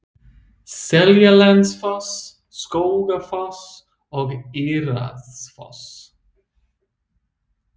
Seljalandsfoss, Skógafoss og Írárfoss.